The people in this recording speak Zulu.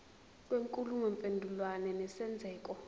kwenkulumo mpendulwano nesenzeko